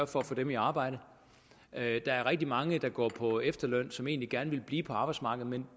for at få dem i arbejde der er rigtig mange der går på efterløn som egentlig gerne ville blive på arbejdsmarkedet men